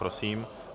Prosím.